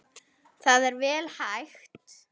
Það er vel hægt.